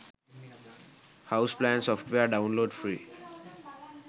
house plan software download free